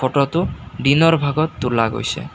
Photo টো দিনৰ ভাগত তোলা গৈছে।